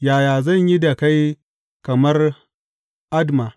Yaya zan yi da kai kamar Adma?